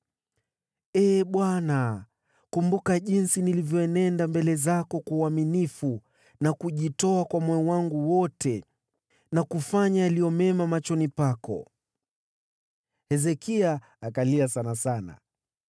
“Ee Bwana , kumbuka jinsi nilivyoenenda mbele zako kwa uaminifu na kujitoa kwa moyo wangu wote, na kufanya yaliyo mema machoni pako.” Naye Hezekia akalia kwa uchungu.